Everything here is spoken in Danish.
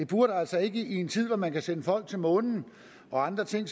burde altså ikke i en tid hvor man kan sende folk til månen og andre ting